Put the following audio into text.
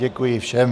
Děkuji všem.